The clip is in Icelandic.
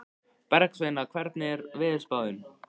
Bergsveina, hvernig er veðurspáin?